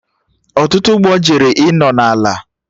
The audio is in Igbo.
Ọtụtụ ụgbọ jere ịnọ na ala